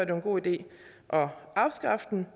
jo en god idé at afskaffe den